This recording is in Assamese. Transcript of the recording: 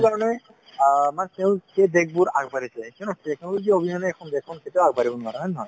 সেইটোকাৰণে অ মানে তেওঁলোকৰ সেই দেশবোৰ আগবাঢ়িছে কিয়নো technology অবিহনে এখন দেশখন কেতিয়াও আগবাঢ়িব নোৱাৰে হয় নে নহয়